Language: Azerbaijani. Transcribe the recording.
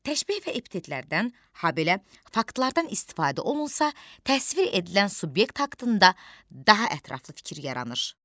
Təşbeh və epitetlərdən, habelə faktlardan istifadə olunsa, təsvir edilən subyekt haqqında daha ətraflı fikir yaranır.